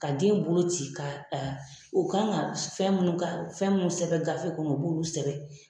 Ka den bolo ci ka u kan ka fɛn minnu ka fɛn minnu sɛbɛn gafe kɔnɔ o b'ulu sɛbɛn.